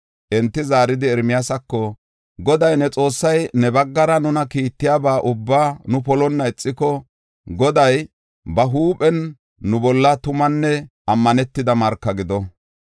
Enti zaaridi, Ermiyaasako, “Goday ne Xoossay ne baggara nuna kiittiyaba ubbaa nu polonna ixiko, Goday ba huuphen nu bolla tumanne ammanetida marka gido.